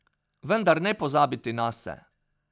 Vendar ne pozabiti nase.